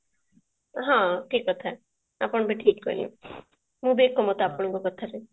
ହଁ ଠିକ କଥା ଆପଣ ବି ଠିକ କହିଲେ ମୁଁ ବି ଏକମତ ଆପଣଙ୍କ କଥାରେ